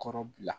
Kɔrɔ bila